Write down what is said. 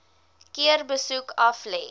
keer besoek aflê